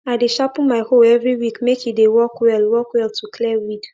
i dey sharpen my hoe every week make e dey work well work well to clear weed